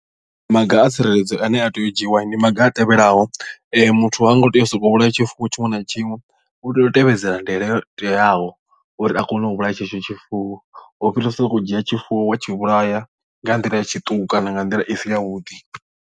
Maga a tsireledzo ane a tea u dzhiiwa ndi maga a tevhelaho muthu ha ngo tea u sokou vhulaya tshifuwo tshiṅwe na tshiṅwe u tea u tevhedzela ndaela yo teaho uri a kone u vhulaya tshetsho tshifuwo u fhirisa sokou dzhia tshifuwo wa tshi vhulaya nga nḓila ya tshiṱuku kana nga nḓila i si ya vhuḓi.